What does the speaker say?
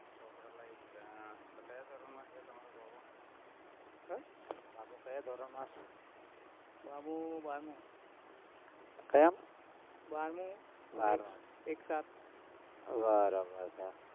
ચોપડા લાઇ દીધા, હમ ક્યાં ધોરણમાં છે, તમારો બાબો હેં? બાબો ક્યાં ધોરણમાં છે, બાબો બારમુ ક્યાંમાં બારમામાં બારમામાં એક સાથ બરાબર છે